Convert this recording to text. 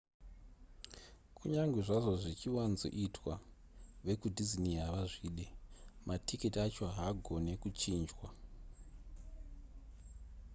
kunyange zvazvo zvichiwanzoitwa vekudisney havazvide matiketi acho haagone kuchinjwa